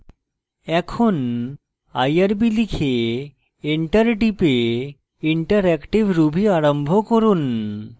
এখন irb লিখে enter type interactive ruby আরম্ভ করুন